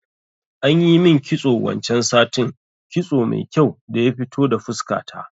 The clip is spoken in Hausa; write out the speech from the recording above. Anyi min kitso wancan satin, kitso mai kyau daya fito da fuska ta